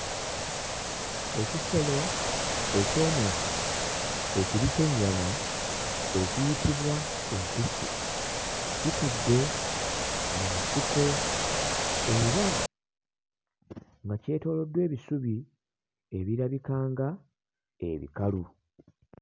Ekisolo eky'omu nsiko ekiri ky'ennyama ekiyitibwa empisi kitudde mu nsiko era nga kyetooloddwa ebisubi ebirabika nga ebikalu.